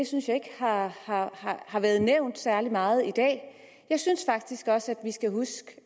synes jeg ikke har har været nævnt særlig meget i dag jeg synes faktisk også vi skal huske